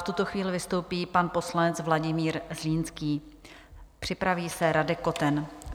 V tuto chvíli vystoupí pan poslanec Vladimír Zlínský, připraví se Radek Koten.